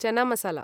चाना मसाला